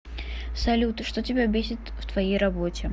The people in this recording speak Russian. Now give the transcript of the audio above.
салют что тебя бесит в твоей работе